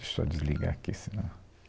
Deixa eu só desligar aqui, senão...